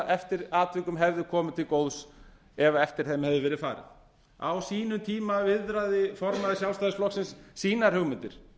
eftir atvikum hefðu komið til góðs ef eftir þeim hefði verið farið á sínum tíma viðraði formaður sjálfstæðisflokksins sínar hugmyndir